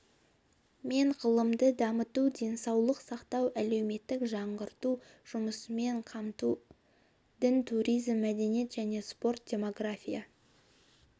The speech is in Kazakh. мен ғылымды дамыту денсаулық сақтау әлеуметтік жаңғырту жұмыспен қамту дін туризм мәдениет және спорт демография